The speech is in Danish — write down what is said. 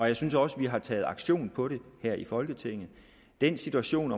jeg synes også at vi har taget aktion på det her i folketinget den situation